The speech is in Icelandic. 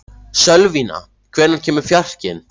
Sölvína, hvenær kemur fjarkinn?